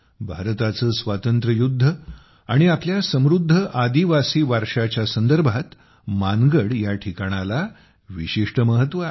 भारताचे स्वातंत्र्य युध्द आणि आपल्या समृध्द आदिवासी वारशाच्या संदर्भात मानगडया ठिकाणाला विशिष्ट महत्त्व आहे